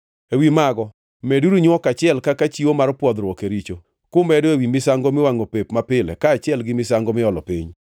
Ewi mago meduru nywok achiel kaka chiwo mar pwodhruok e richo, kumedo ewi misango miwangʼo pep mapile kaachiel gi misango miolo piny.